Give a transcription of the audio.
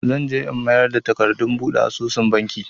Zan je in mayar da takardun buɗe asusun Banki.